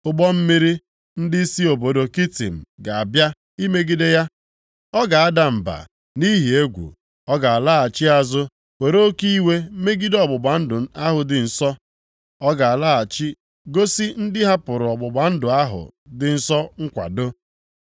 Ụgbọ mmiri ndị si obodo Kitim ga-abịa imegide ya, ọ ga-ada mba nʼihi egwu, ọ ga-alaghachi azụ were oke iwe megide ọgbụgba ndụ ahụ dị nsọ. Ọ ga-alọghachi gosi ndị hapụrụ ọgbụgba ndụ ahụ dị nsọ nkwado.